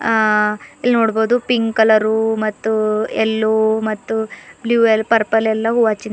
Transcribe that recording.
ಆ ಇಲ್ ನೋಡ್ಬುದು ಪಿಂಕ್ ಕಲರು ಮತ್ತು ಎಲ್ಲೋ ಮತ್ತು ಬ್ಲೂ ಲ್ಲ ಪರ್ಪಲ್ ಎಲ್ಲಾ ಹೂವ ಹಚ್ಚಿಂದ್--